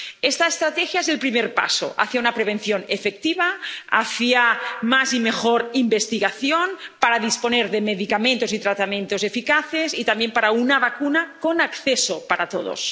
Esta estrategia es el primer paso hacia una prevención efectiva, hacia más y mejor investigación para disponer de medicamentos y tratamientos eficaces, y también de una vacuna accesible para todos.